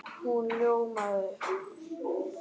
Hún ljómaði upp!